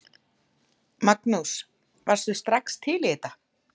Magnús: Varðstu strax til í þetta?